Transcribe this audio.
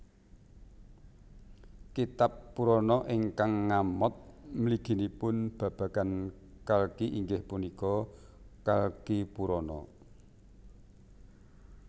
Kitab Purana ingkang ngamot mliginipun babagan Kalki inggih punika Kalkipurana